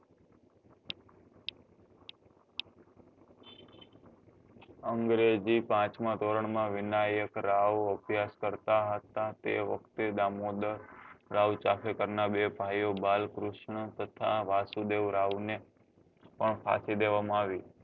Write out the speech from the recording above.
અંગ્રેજી પાંચમાં ધોરણ માં વિનાયક રાઓ અભ્યાસ કરતા હતા એ વખતે દામોદર રાઓ ચાકારેકર નાં બે ભાઈ બાલકૃષ્ણ તથા વાસુદેવ રાવ ને પણ ફાંસી દેવા માં આવી